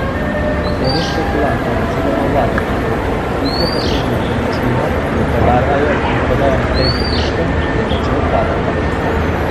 Delež špekulantov oziroma vlagateljev, ki kupijo poceni nepremičnino, jo prebarvajo in prodajo naprej z dobičkom, je začel padati.